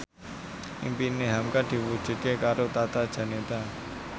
impine hamka diwujudke karo Tata Janeta